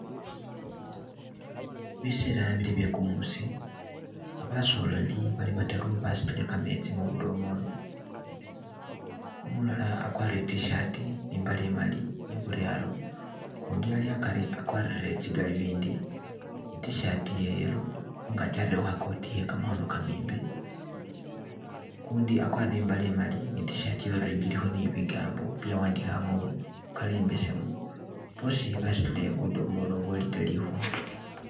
Biseela bili bye kumuusi basoleli bali bataru basutile kametsi mu budomololo umulala akwarire I'tshirt ne imbale imali iburyaro, ukundi ali akari akwarire tsi galuvindi, I'tshirt iye yellow khungaki arerekho kha kooti iye kamakhono kamembi, ukundi akwarire imbale imali ne I'tshirt iye orange ilikho ne bigambo byawandikhibwa mu color imbesemu, boosi basutile budomolo bwo litre likhumi.